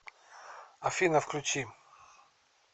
афина включи чик